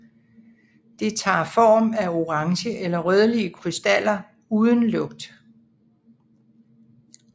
Det tager form af orange eller rødlige krystaller uden lugt